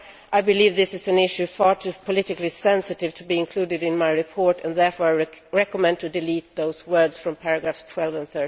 I believe this is an issue far too politically sensitive to be included in my report, and therefore I recommend to delete those words from paragraphs 12 and